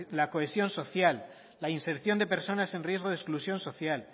la cohesión social la inserción de personas en riesgo de exclusión social